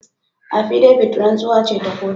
Appidavit rantsuwa ce ta kotu.